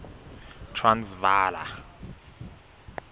transvala